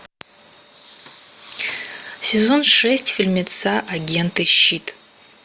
сезон шесть фильмеца агенты щит